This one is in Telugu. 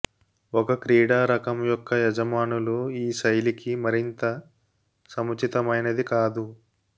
ఒక క్రీడా రకం యొక్క యజమానులు ఈ శైలికి మరింత సముచితమైనది కాదు